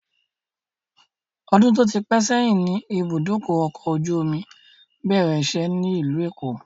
Odun tó ti pẹ sẹ́yìn ni ibùdókọ̀ ọkọ̀ ojú omi bẹ̀rẹ̀ ìṣe ni ilu èkó